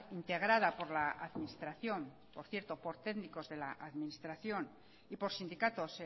integrada por la administración por cierto por técnicos de la administración y por sindicatos